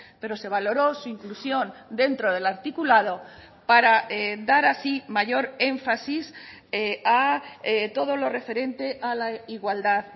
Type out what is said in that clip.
pero se valoró su inclusión dentro del articulado para dar así mayor énfasis a todo lo referente a la igualdad